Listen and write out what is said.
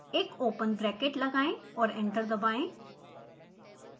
एक open bracket लगाएं और एंटर दबाएं